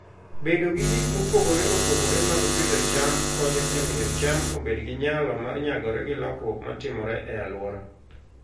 Bedo gi gik mopogore opogore mag pidho cham konyo e miyo cham obed gi nyalo mar nyagore gi lokruok ma timore e alwora.